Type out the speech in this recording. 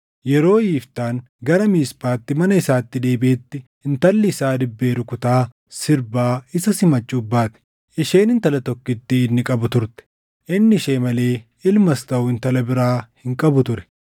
Yeroo Yiftaan gara Miisphaatti mana isaatti deebiʼetti, intalli isaa dibbee rukutaa sirbaa isa simachuuf baate! Isheen intala tokkittii inni qabu turte. Inni ishee malee ilmas taʼu intala biraa hin qabu ture.